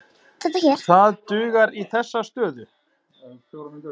Það dugar í þessa stöðu.